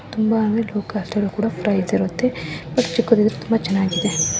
ತುಂಬಾ ಅಂದ್ರೆ ತುಂಬಾ ಲೋ ಕಾಸ್ಟ್ ಅಲ್ಲೂ ಕೂಡ ಪ್ರಯಿಸ್ ಇರುತ್ತೆ ಬಟ್ ಚಿಕ್ಕದಿದ್ರು ತುಂಬಾ ಚೆನ್ನಾಗಿದೆ.